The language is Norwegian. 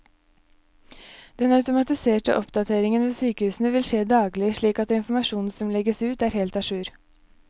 Den automatiserte oppdateringen ved sykehusene vil skje daglig, slik at informasjonen som legges ut er helt a jour.